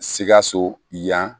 Sikaso yan